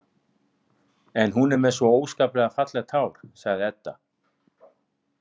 En hún er með svo óskaplega fallegt hár, sagði Edda.